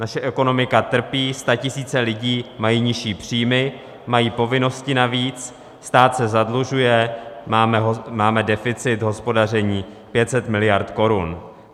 Naše ekonomika trpí, statisíce lidí mají nižší příjmy, mají povinnosti navíc, stát se zadlužuje, máme deficit hospodaření 500 miliard korun.